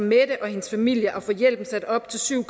mette og hendes familie at få hjælpen sat op til syv